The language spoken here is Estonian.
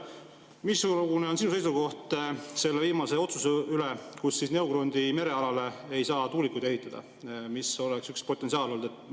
Missugune on sinu seisukoht selle viimase otsuse suhtes, et Neugrundi merealale ei saa tuulikuid ehitada, mis oleks üks potentsiaal olnud?